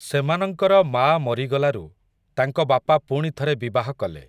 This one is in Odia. ସେମାନଙ୍କର ମାଆ ମରିଗଲାରୁ, ତାଙ୍କ ବାପା ପୁଣି ଥରେ ବିବାହ କଲେ ।